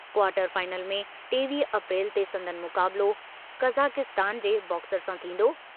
Quarter final में टेवीह April ते संदनि मुकाबलो कज़ाकिस्तान जे बॉक्सर सां थींदो।